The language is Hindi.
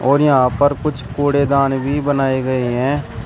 और यहां पर कुछ कूड़ेदान भी बनाए गए हैं।